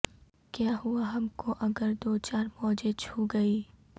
کیا ہوا ہم کو اگر دو چار موجیں چھو گئیں